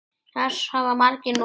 Þess hafa margir notið.